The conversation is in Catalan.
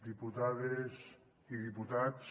diputades i diputats